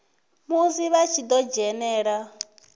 musi vha tshi ḓo dzhena